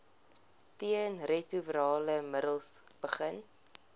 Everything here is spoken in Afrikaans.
teenretrovirale middels begin